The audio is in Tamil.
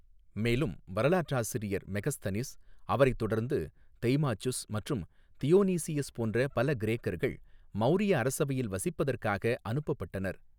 மேலும் வரலாற்றாசிரியர் மெகஸ்தனிஸ், அவரைத் தொடர்ந்து தெய்மாச்சுஸ் மற்றும் தியோனீசியஸ் போன்ற பல கிரேக்கர்கள், மௌரிய அரசவையில் வசிப்பதற்காக அனுப்பப்பட்டனர்.